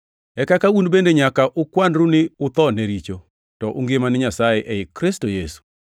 E kaka un bende nyaka ukwanru ni utho ne richo, to ungima ne Nyasaye ei Kristo Yesu.